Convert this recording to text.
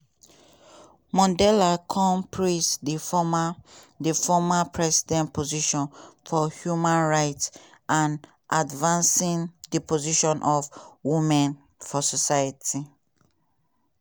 mondale kon praise di former di former president position for human rights and advancing di position of women for society.